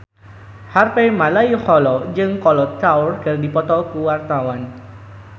Harvey Malaiholo jeung Kolo Taure keur dipoto ku wartawan